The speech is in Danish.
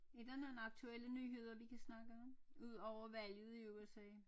Er der nogle aktuelle nyheder vi kan snakke om ud over valget i USA